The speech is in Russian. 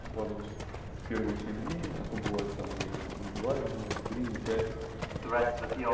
укладываемся в первые семь дней а то бывает там и и два дня и три и пять